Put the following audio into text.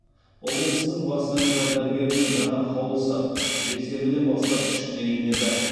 облыстың бас санитар дәрігерінің жаңа қаулысы жексенбіден бастап күшіне енеді